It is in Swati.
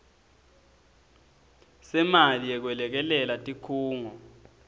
semali yekwelekelela tikhungo